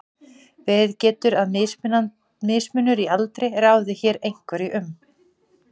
verið getur að mismunur í aldri ráði hér einhverju um